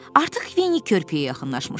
Artıq Vinni körpüyə yaxınlaşmışdı.